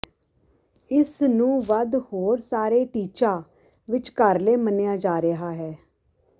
ਇਸ ਨੂੰ ਵੱਧ ਹੋਰ ਸਾਰੇ ਟੀਚਾ ਵਿਚਕਾਰਲੇ ਮੰਨਿਆ ਜਾ ਰਿਹਾ ਹੈ